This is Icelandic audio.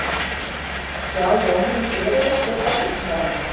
Helga: Hefðir þú viljað sjá Jóhönnu Sigurðardóttur, forsætisráðherra?